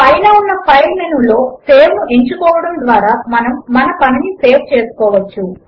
పైన ఉన్న file menu లో సేవ్ ను ఎంచుకోవడము ద్వారా మనము మన పనిని సేవ్ చేసుకోవచ్చు